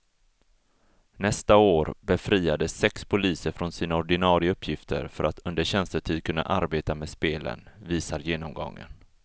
Nästa år befriades sex poliser från sina ordinarie uppgifter för att under tjänstetid kunna arbeta med spelen, visar genomgången.